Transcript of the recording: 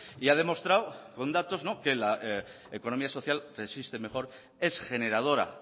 y ha demostrado con datos que la economía social resiste mejor es generadora